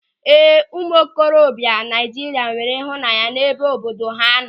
Ee, ụmụ ntorobịa Naịjirịa nwere ịhụnanya n'ebe obodo ha nọ.